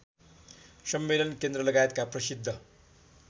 सम्मेलन केन्द्रलगायतका प्रसिद्ध